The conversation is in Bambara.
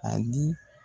A di